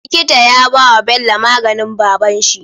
Likita ya bawa Bello maganin babanshi